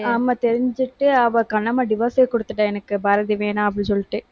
ஆமா, தெரிஞ்சுட்டு அவ கண்ணம்மா divorce ஏ கொடுத்துட்டா, எனக்கு பாரதி வேணாம், அப்படின்னு சொல்லிட்டு.